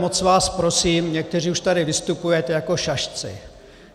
Moc vás prosím - někteří už tady vystupujete jako šašci.